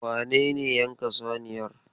Wane ne yanka saniyar?